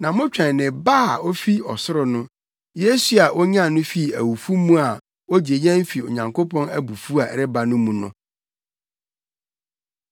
na motwɛn ne Ba a ofi ɔsoro no; Yesu a onyan no fii awufo mu a ogye yɛn fi Onyankopɔn abufuw a ɛreba no mu no.